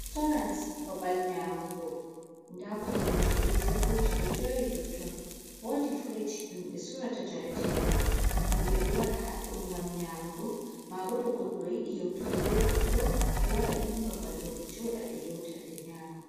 Restorant babal nyamugo nda koromje be teburji ɗo jeri ha totton, wodi furij ɗum be sorata jaratee ɗam, himɓɓe ɗo wara hado ngam nyamugo, mabo to goɗɗo yiɗi yeutugo be goɗɗo ɗo wara irin babal ɗo be joɗa bee yauta ɓe nyama.